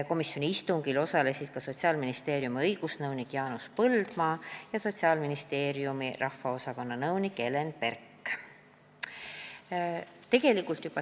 Komisjoni istungil osalesid ka Sotsiaalministeeriumi õigusnõunik Jaanus Põldmaa ja ravimiosakonna nõunik Helen Berk.